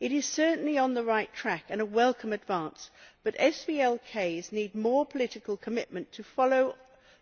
It is certainly on the right track and a welcome advance, but SVLK needs more political commitment to ensure that